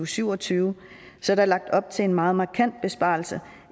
syv og tyve er der lagt op til en meget markant besparelse